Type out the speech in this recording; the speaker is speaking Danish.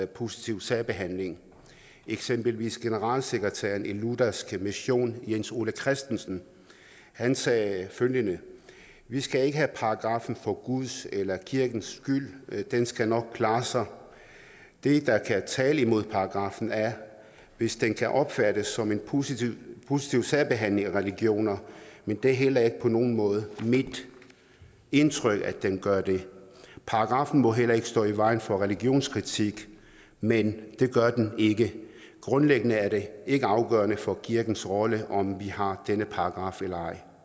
positiv særbehandling eksempelvis generalsekretæren i luthersk mission jens ole christensen han sagde følgende vi skal ikke have paragraffen for guds eller kirkens skyld den skal nok klare sig det der kan tale imod paragraffen er hvis den kan opfattes som en positiv positiv særbehandling af religioner men det er heller ikke på nogen måde mit indtryk at den gør det paragraffen må heller ikke stå i vejen for religionskritik men det gør den ikke grundlæggende er det ikke afgørende for kirkens rolle om vi har denne paragraf eller ej